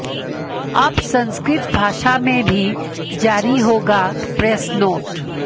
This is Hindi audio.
अब संस्कृत भाषा में भी जारी होगा प्रेस नोट